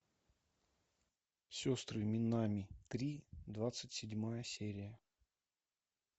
сестры минами три двадцать седьмая серия